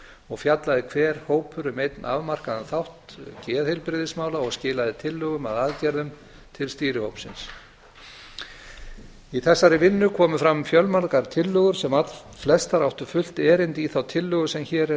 og fjallaði hver hópur um einn afmarkaðan þátt geðheilbrigðismála og skilaði tillögum að aðgerðum til stýrihópsins í þessari vinnu komu fram fjölmargar tillögur sem allflestar áttu fullt erindi í þá tillögu sem hér er